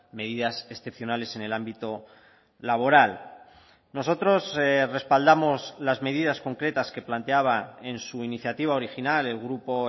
medidas excepcionales en el ámbito laboral nosotros respaldamos las medidas concretas que planteaba en su iniciativa original el grupo